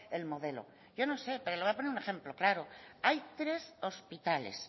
el modelo yo no sé pero le voy a poner un ejemplo claro hay tres hospitales